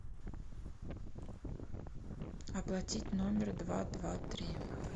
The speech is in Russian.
оплатить номер два два три